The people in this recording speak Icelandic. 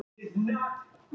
Ertu að færa þig út?